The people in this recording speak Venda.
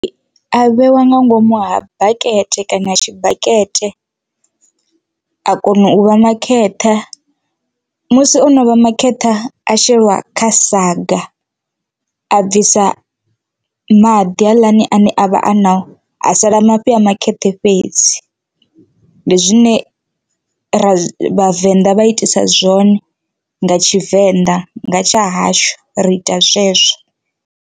A vheiwa nga ngomu ha bakete kana tshibakete a kona u vha makheṱha musi ono vha makheṱha a sheliwa kha saga a bvisa maḓi haaḽani ane a vha a na a sala mafhi a phakheṱhe fhedzi, ndi zwine ra vhavenḓa vha itisa zwone nga tshivenḓa nga tsha hashu ri ita zwezwo.